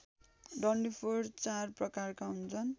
डन्डीफोर चार प्रकारका हुन्छन्